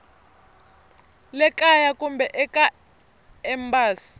le kaya kumbe eka embasi